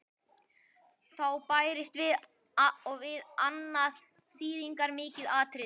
Þá bætist og við annað þýðingarmikið atriði.